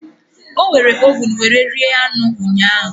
O were ovun were rie anụ ụnyahu